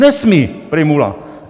Nesmí! - Prymula.